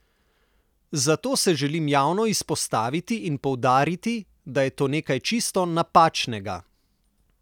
Zato se želim javno izpostaviti in poudariti, da je to nekaj čisto napačnega.